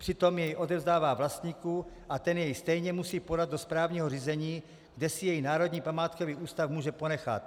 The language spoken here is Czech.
Přitom jej odevzdává vlastníku a ten jej stejně musí podat do správního řízení, kde si jej Národní památkový ústav může ponechat.